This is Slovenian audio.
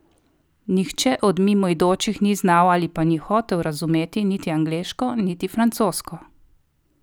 Nihče od mimoidočih ni znal ali pa ni hotel razumeti niti angleško niti francosko.